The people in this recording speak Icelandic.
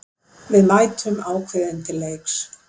Við mætum ákveðin til leiks